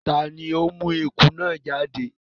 tá ní o mú ẹkú náa jáde?